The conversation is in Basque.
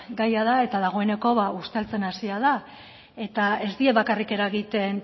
gaia da eta dagoeneko ba usteltzen hasia da eta ez die bakarrik eragiten